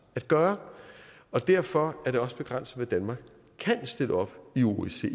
at gøre derfor er det også begrænset hvad danmark kan stille op i osce